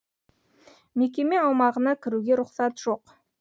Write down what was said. мекеме аумағына кіруге рұқсат жоқ